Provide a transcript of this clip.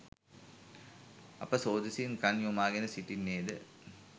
අප සෝදිසියෙන් කන් යොමාගෙන සිටින්නේද?